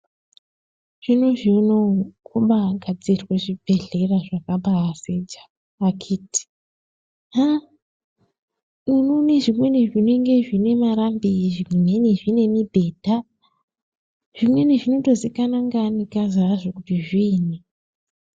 Zvinozvi unowu kubagadzirwe zvibhodhlera zvakabasecha akiti haaa unoone zvimweni zvinenge zvine marambi , zvimweni zvine mibhedha zvimweni zvinotozikana nenangikazi azvo kuzi zviinyi.